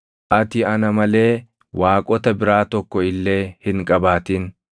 “Ati ana malee waaqota biraa tokko illee hin qabaatin.